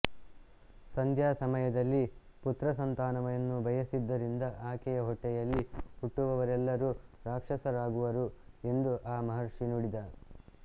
ಸಂಧ್ಯಾ ಸಮಯದಲ್ಲಿ ಪುತ್ರಸಂತಾನವನ್ನು ಬಯಸಿದ್ದರಿಂದ ಆಕೆಯ ಹೊಟ್ಟೆಯಲ್ಲಿ ಹುಟ್ಟುವವರೆಲ್ಲರೂ ರಾಕ್ಷಸರಾಗುವರು ಎಂದು ಆ ಮಹರ್ಷಿ ನುಡಿದ